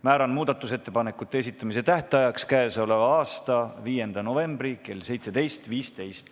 Määran muudatusettepanekute esitamise tähtajaks k.a 5. novembri kell 17.15.